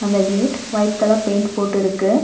அந்த gate white colour paint போட்டுருக்கு.